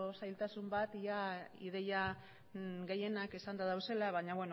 zailtasun bat ia ideia gehienak esanda dauzela baina